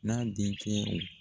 N'an denkɛ o